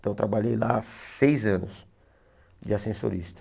Então eu trabalhei lá seis anos de ascensorista.